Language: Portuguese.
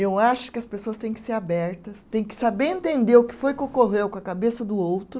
Eu acho que as pessoas têm que ser abertas, têm que saber entender o que foi que ocorreu com a cabeça do outro,